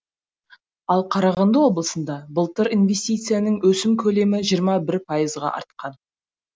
ал қарағанды облысында былтыр инвестицияның өсім көлемі жиырма бір пайызға артқан